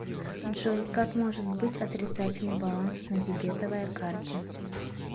джой как может быть отрицательный баланс на дебетовая карте